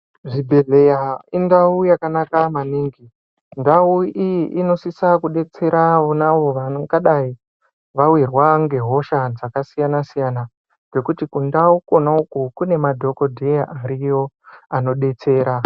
Zvibhedhleya indau yakanaka maningi, ndau iyi inosisa kudetsera vonavo vangadayi vawirwa ngehosha dzakasiyana-siyana. Ngekuti kundau kona uko, kune madhokodheya ariyo anodetsera.